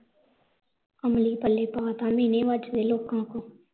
ਅਮਲੀ ਪੱਲੇ ਪਾਤਾ ਮੇਹਣੇ ਵੱਜਦੇ ਲੋਕਾਂ ਕੋ